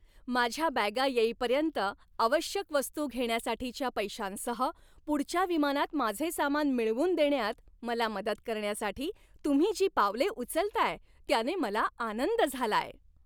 माझ्या बॅगा येईपर्यंत आवश्यक वस्तू घेण्यासाठीच्या पैशांसह, पुढच्या विमानात माझे सामान मिळवून देण्यात मला मदत करण्यासाठी तुम्ही जी पावले उचलताय त्याने मला आनंद झालाय.